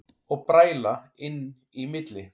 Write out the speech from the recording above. Og bræla inn í milli.